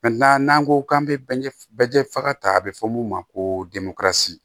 n'an ko k'an bɛ jɛ faga ta a bɛ fɔ mun ma ko